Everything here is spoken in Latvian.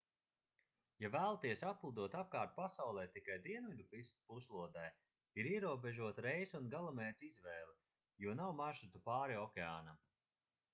ja vēlaties aplidot apkārt pasaulei tikai dienvidu puslodē ir ierobežota reisu un galamērķu izvēle jo nav maršrutu pāri okeānam